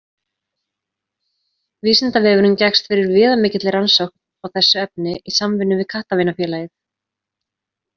Vísindavefurinn gekkst fyrir viðamikilli rannsókn á þessu efni í samvinnu við Kattavinafélagið.